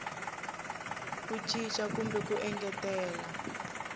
ku cinca kumbe ku engetela